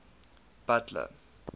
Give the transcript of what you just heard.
butler